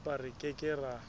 empa re ke ke ra